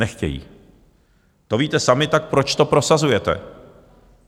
Nechtějí, to víte sami, tak proč to prosazujete?